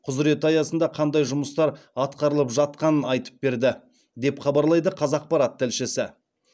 құзіреті аясында қандай жұмыстар атқарылып жатқанын айтып берді деп хабарлайды қазақпарат тілшісі